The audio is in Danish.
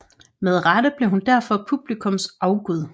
Med rette blev hun derfor publikums afgud